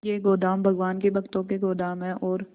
ये गोदाम भगवान के भक्तों के गोदाम है और